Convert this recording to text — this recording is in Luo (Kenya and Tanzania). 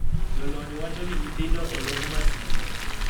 Jolony wacho ni nyithindo olok 'masinde'